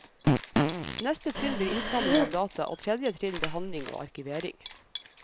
Neste trinn blir innsamling av data og tredje trinn behandling og arkivering.